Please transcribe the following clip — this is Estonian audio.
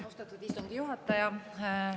Austatud istungi juhataja!